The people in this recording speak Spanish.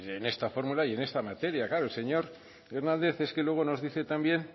en esta fórmula y en esta materia claro el señor hernández es que luego nos dice también